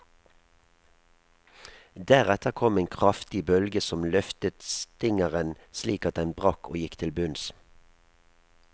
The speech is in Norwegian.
Deretter kom en kraftig bølge som løftet stingeren slik at den brakk og gikk til bunns.